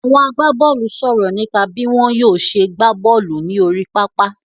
Àwọn agbábọ́ọ́lù sọ̀rọ̀ nípa bí wọ́n yóò ṣe gbá bọ́ọ́lù ní orí pápá.